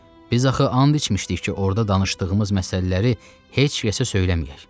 Biz axı and içmişdik ki, orda danışdığımız məsələləri heç kəsə söyləməyək.